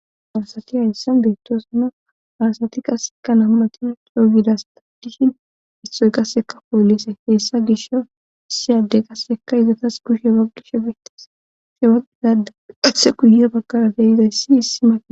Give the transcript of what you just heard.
Farsati hayssan beettosana aasati qasseka nammati yogidas taddishin istoy qasseka poolise heessa gisha issi adde qassekka izatas kushe aqshe ashe baqqizada qathe guyea pakarategidayssi issi maqe.